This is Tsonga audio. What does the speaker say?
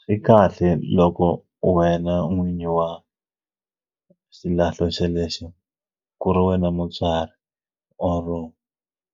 Swi kahle loko wena n'winyi wa xilahlo xelexo ku ri wena mutswari or